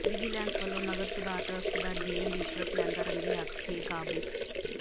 vigilance ਵੱਲੋਂ ਨਗਰ ਸੁਧਾਰ ਟਰੱਸਟ ਦਾ ਜੇਈ ਰਿਸ਼ਵਤ ਲੈਂਦਾ ਰੰਗੇ ਹੱਥੀਂ ਕਾਬੂ